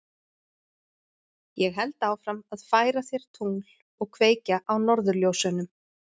Ég held áfram að færa þér tungl og kveikja á norðurljósunum.